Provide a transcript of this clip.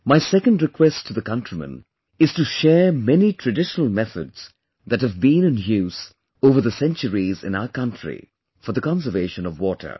My second request to the countrymen is to share many traditional methods that have been in use over the centuries in our country for the conservation of water